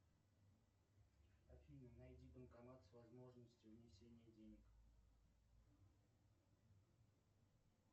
афина найди банкомат с возможностью внесения денег